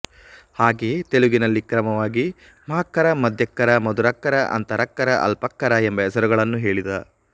ಹಾಗೆಯೇ ತೆಲುಗಿನಲ್ಲಿ ಕ್ರಮವಾಗಿ ಮಹಾಕ್ಕರ ಮಧ್ಯಾಕ್ಕರ ಮಧುರಾಕ್ಕರ ಅಂತರಾಕ್ಕರ ಅಲ್ಪಾಕ್ಕರ ಎಂಬ ಹೆಸರುಗಳನ್ನು ಹೇಳಿದ